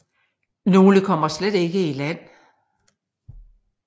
Nogle kommer slet ikke i land